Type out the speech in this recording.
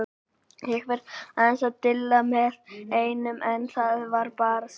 Ég var aðeins að dilla með einum en það var bara stutt.